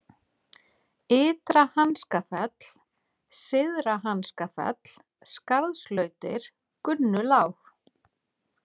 Ytra-Hanskafell, Syðra-Hanskafell, Skarðslautir, Gunnulág